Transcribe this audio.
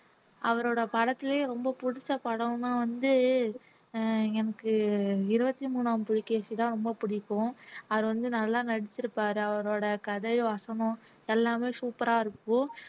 அவரோட படத்திலேயே ரொம்ப பிடிச்ச படமா வந்து அஹ் எனக்கு இருபத்தி மூணாம் புலிகேசிதான் ரொம்ப பிடிக்கும் அவர் வந்து நல்லா நடிச்சிருப்பாரு அவரோட கதை வசனம் எல்லாமே super ஆ இருக்கும்